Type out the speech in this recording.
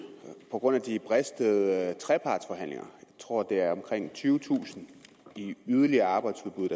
på grund af de bristede trepartsforhandlinger jeg tror det er omkring tyvetusind i yderligere arbejdsudbud